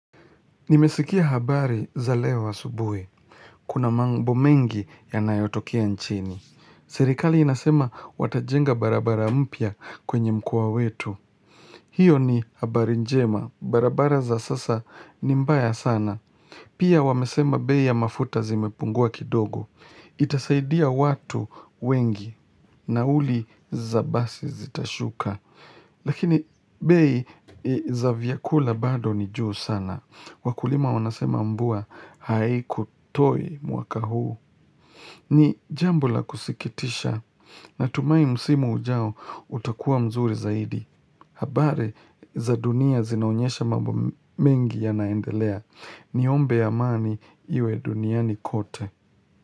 Nimesikia habari za leo asubuhi. Kuna mambo mengi yanayotokea nchini. Serikali inasema watajenga barabara mpya kwenye mkoa wetu. Hiyo ni habari njema. Barabara za sasa ni mbaya sana. Pia wamesema bei ya mafuta zimepungua kidogo. Itasaidia watu wengi nauli za basi zitashuka. Lakini bei za vyakula bado ni juu sana. Wakulima wanasema mvua haikutoi mwaka huu ni jambo la kusikitisha. Natumai msimu ujao utakuwa mzuri zaidi habari za dunia zinaonyesha mambo mengi yanaendelea Niombe amani iwe duniani kote.